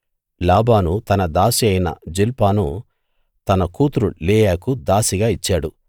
లాబాను తన దాసి అయిన జిల్పాను తన కూతురు లేయాకు దాసిగా ఇచ్చాడు